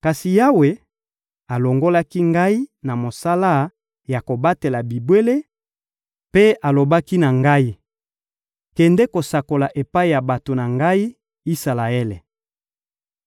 Kasi Yawe alongolaki ngai na mosala ya kobatela bibwele mpe alobaki na ngai: «Kende kosakola epai ya bato na Ngai, Isalaele.»